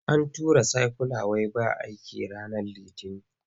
An tura saikyula wai ba aiki ranar Litinin.